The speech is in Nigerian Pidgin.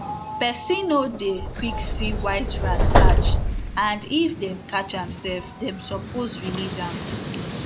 person o dey quick see white rat catch ad if dem catch am sef dem suppose release am